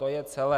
To je celé.